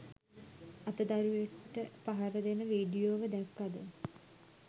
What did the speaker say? අත දරුවෙකුට පහර දෙන වීඩියෝව දැක්කද?